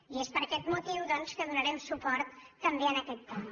i és per aquest motiu doncs que donarem suport també a aquest punt